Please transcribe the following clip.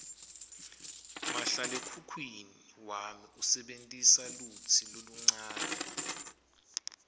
mahlalekhukhwini wami usebentisa lutsi loluncane